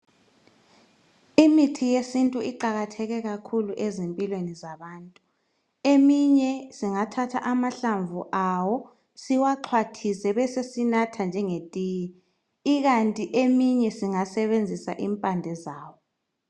Imithi yesintu iqalatheke kakhulu ezimpilweni zabantu. Eminye singathatha amahlamvu awo siwaxhwathise besesinatha njengetiye, ikanti eminye singasenzisa impande zawo